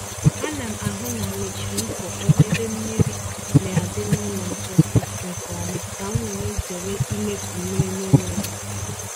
Ana m ahụ na mechiri mpukpọ ébé mmiri na adi n’ụlọ mposi nke ọma ka m were zere imefu mmiri n'enweghị ịsị